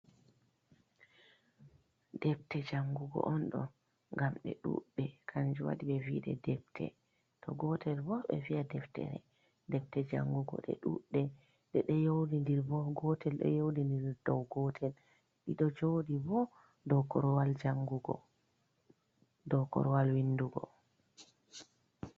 Depte jangugo on ɗo. Ngam ɗe ɗuɗɗe kanjum waɗi ɓe vi ɗe depte. To gotel bo, ɓe vi'a deftere. Depte jangugo ɗe ɗuɗɗe. Ɗe ɗo yeudindiri bo. Gotel ɗo yeudindiri dou gotel. Ɗi ɗo jooɗi bo dou korwal jangugo, dou korwal windugo.